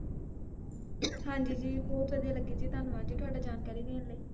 ਹਾਂਜੀ ਜੀ ਬਹੁੱਤ ਵਦੀਆ ਲਗੇ ਜੀ ਧੰਨਵਾਦ ਜੀ ਤੁਹਾਡਾ ਜਾਣਕਾਰੀ ਦੇਣ ਲਈ